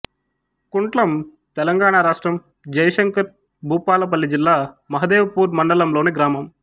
కుంట్లం తెలంగాణ రాష్ట్రం జయశంకర్ భూపాలపల్లి జిల్లా మహదేవ్ పూర్ మండలంలోని గ్రామం